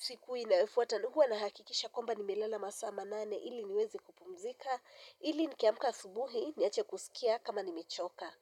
siku inayofuata. Huwa na hakikisha kwamba nimelala masaa manane ili niweze kupumzika. Ili nikiamka asubuhi niache kusikia kama nimechoka.